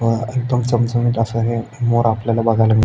व एकदम चमचमीत अस हे मोर आपल्याला बघायला मिळ--